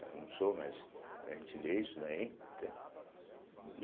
Eu não sou, mas a gente lê isso daí, entende.